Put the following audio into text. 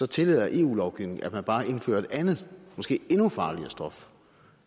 tillader eu lovgivningen at man bare indfører et andet måske endnu farligere stof